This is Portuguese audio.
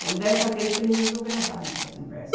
Então, dessa vez, ele resolveu gravar a nossa conversa.